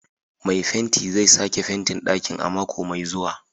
Mai fenti zai sake fentin ɗakin a mako mai zuwa.